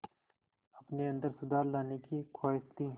अपने अंदर सुधार लाने की ख़्वाहिश थी